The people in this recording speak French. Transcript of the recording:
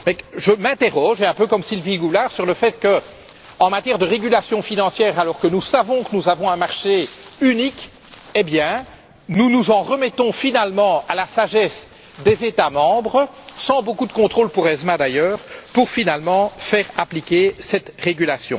Cependant je m'interroge, un peu comme Sylvie Goulard, sur le fait que, en matière de régulation financière alors que nous savons que nous avons un marché unique nous nous en remettons finalement à la sagesse des États membres, sans beaucoup de contrôle pour ESMA, d'ailleurs, pour faire appliquer ce règlement.